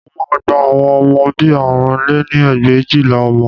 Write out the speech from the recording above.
Mo máa gba àwọn ọmọ bí i àrún lé ní ẹgbẹ̀éjìlá ọmọ